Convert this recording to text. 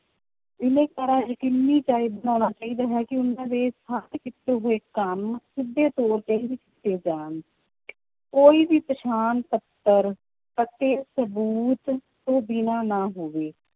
ਬਿਨੈਕਾਰਾਂ ਯਕੀਨੀ ਚਾਹੀ~ ਬਣਾਉਣਾ ਚਾਹੀਦਾ ਹੈ ਕਿ ਉਹਨਾਂ ਦੇ ਕੀਤੇ ਹੋਏ ਕੰਮ ਸਿੱਧੇ ਤੌਰ ਤੇ ਹੀ ਜਾਣ ਕੋਈ ਵੀ ਪਛਾਣ ਪੱਤਰ ਅਤੇ ਸਬੂਤ ਤੋਂ ਬਿਨਾਂ ਨਾ ਹੋਵੇ